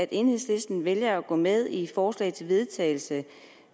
at enhedslisten vælger at gå med i det forslag til vedtagelse